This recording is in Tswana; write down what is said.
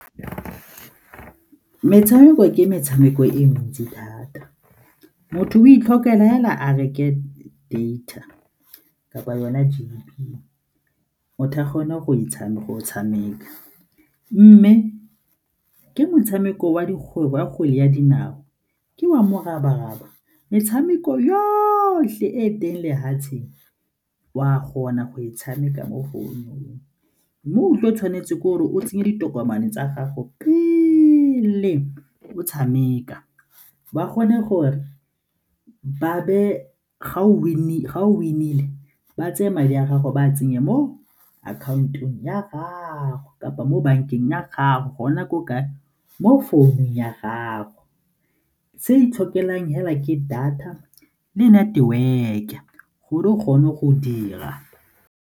Metshameko ke metshameko e mentsi thata, motho o itlhophela fela a reke data kapa yona data, o tla kgona go e tshameka. Mme ke motshameko wa kgwele ya dinao, ke wa morabaraba, metshameko yotlhe e teng lefatseng o a go kgona go e tshameka mo founung mo o tle o tshwanetse ke gore o tseye ditokomane tsa gago pele o tshameka. Ba kgone gore ga o win-ile ba tseye madi a gago ba a tsenye mo account-ong ya gago kapa mo bankeng ya gago gona ko kae? Mo founung ya gago, se itlhokelang fela ke data le network-e gore o kgone go dira.